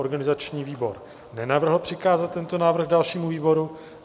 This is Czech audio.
Organizační výbor nenavrhl přikázat tento návrh dalšímu výboru.